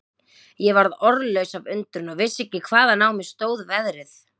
Ég varð orðlaus af undrun og vissi ekki hvaðan á mig stóð veðrið.